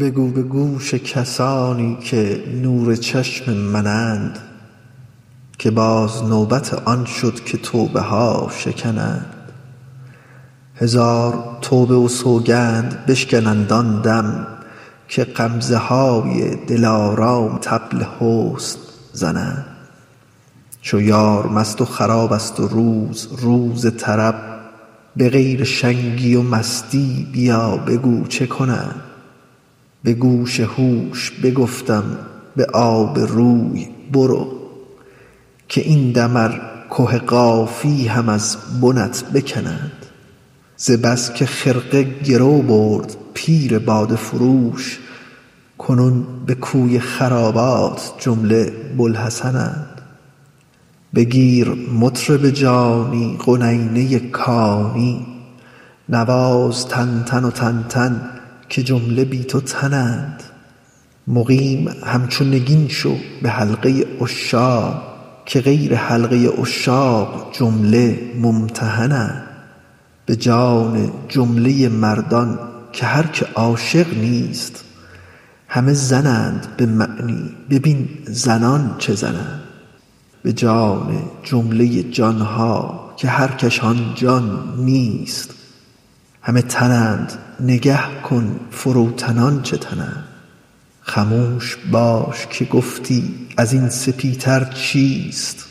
بگو به گوش کسانی که نور چشم منند که باز نوبت آن شد که توبه ها شکنند هزار توبه و سوگند بشکنند آن دم که غمزه های دلارام طبل حسن زنند چو یار مست خرابست و روز روز طرب به غیر شنگی و مستی بیا بگو چه کنند به گوش هوش بگفتم به آب روی برو که این دم ار که قافی هم از بنت بکنند ز بس که خرقه گرو برد پیر باده فروش کنون به کوی خرابات جمله بوالحسن اند بگیر مطرب جانی قنینه کانی نواز تنتن تنتن که جمله بی تو تنند مقیم همچو نگین شو به حلقه عشاق که غیر حلقه عشاق جمله ممتحنند به جان جمله مردان که هر که عاشق نیست همه زنند به معنی ببین زنان چه زنند به جان جمله جان ها که هر کش آن جان نیست همه تنند نگه کن فروتنان چه تنند خموش باش که گفتی از این سپیتر چیست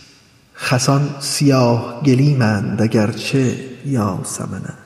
خسان سیاه گلیمند اگر چه یاسمنند